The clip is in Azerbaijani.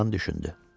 Cırtdan düşündü.